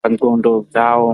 pandxondo dzawo.